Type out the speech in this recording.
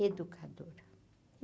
Educadora.